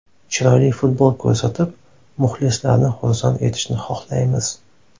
Chiroyli futbol ko‘rsatib, muxlislarni xursand etishni xohlaymiz.